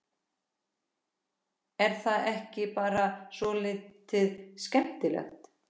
Er það ekki bara svolítið skemmtilegt?